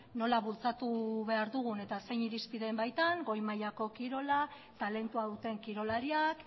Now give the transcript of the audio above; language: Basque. nola bultzatu behar dugun eta zein irizpideen baitan goi mailako kirola talentua duten kirolariak